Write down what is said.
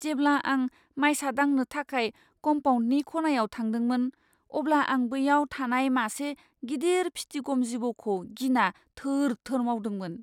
जेब्ला आं मायसा दांनो थाखाय कमपाउन्दनि खनायाव थांदोंमोन, अब्ला आं बैयाव थानाय मासे गिदिर फिथिगम जिबौखौ गिना थोर थोर मावदोंमोन।